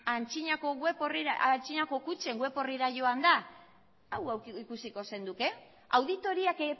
aintzinako kutxen web orrira joanda hau ikusiko zenuke auditoriak